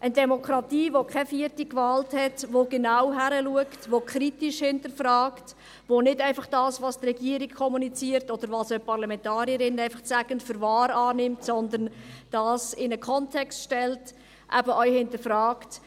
Eine Demokratie, welche keine vierte Gewalt hat, die genau hinsieht, die kritisch hinterfragt, die nicht einfach das, was die Regierung kommuniziert oder Parlamentarier einfach sagen, für wahr annimmt, sondern es in einen Kontext stellt, eben auch hinterfragt: